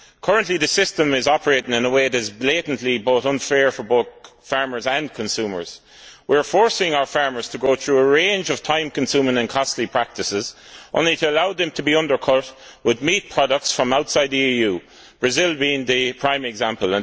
Currently, the system is operating in a way that is blatantly unfair for both farmers and consumers. We are forcing our farmers to go through a range of time consuming and costly practices, only to allow them to be undercut by meat products from outside the EU, with Brazil being a prime example.